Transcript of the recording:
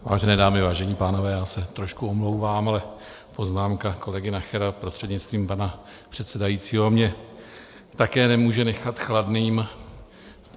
Vážené dámy, vážení pánové, já se trošku omlouvám, ale poznámka kolegy Nachera prostřednictvím pana předsedajícího mě také nemůže nechat chladným.